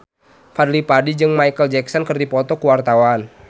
Fadly Padi jeung Micheal Jackson keur dipoto ku wartawan